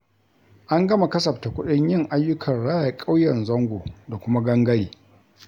An gama kasafta kuɗin yin ayyukan raya ƙauyen Zango da kuma Gangare.